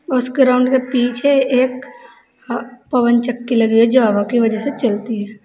उस ग्राउंड के पीछे एक पवन चक्की लगी है जो हवा के वजह से चलती है।